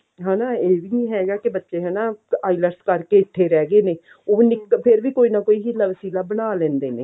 ਹਨਾ ਇਹ ਵੀ ਹੈਗਾ ਕਿ ਬੱਚੇ ਹਨਾ IELTS ਕਰਕੇ ਇੱਥੇ ਰਹਿੰਦੇ ਨੇ ਫ਼ੇਰ ਵੀ ਕੋਈ ਨਾ ਕੋਈ ਹਿੱਲਾ ਵਸੀਲਾ ਬਣਾ ਲੈਂਦੇ ਨੇ